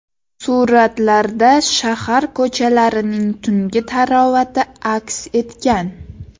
Suratlarda shahar ko‘chalarining tungi tarovati aks etgan.